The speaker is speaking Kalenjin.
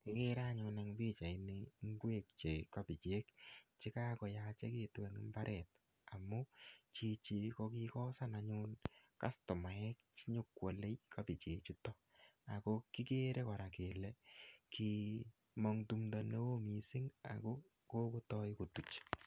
Ikere anyun eng pichait ni, ngwek che kabichek, che kakoyachekitu eng mbaret. Amu chichi ko kikosan anyun kostomaek che nyikwale kabichek chutok. Ako kikere kora kele kimong' tumdo ne oo missing ako kokotai kotuch.